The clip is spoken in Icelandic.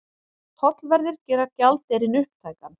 Tollverðir gera gjaldeyrinn upptækan